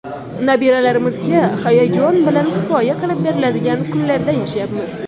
Nabiralarimizga hayajon bilan hikoya qilib beriladigan kunlarda yashayapmiz.